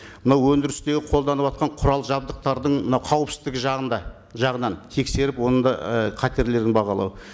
мынау өндірістегі қолданыватқан құрал жабдықтардың мынау қауіпсіздігі жағында жағынан тексеріп оның да і қатерін бағалау